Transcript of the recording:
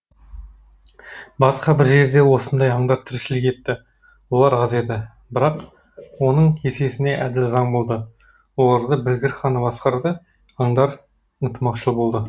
басқа бір жерде осындай аңдар тіршілік етті олар аз еді бірақ оның есесіне әділ заң болды оларды білгір хан басқарды аңдар ынтымақшыл болды